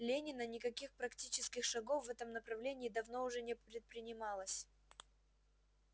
ленина никаких практических шагов в этом направлении давно уже не предпринималось